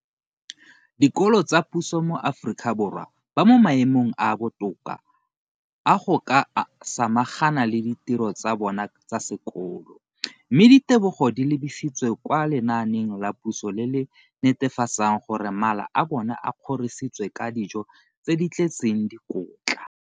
Dikolo tsa puso mo Aforika Borwa ba mo maemong a a botoka a go ka samagana le ditiro tsa bona tsa sekolo, mme ditebogo di lebisiwa kwa lenaaneng la puso le le netefatsang gore mala a bona a kgorisitswe ka dijo tse di tletseng dikotla.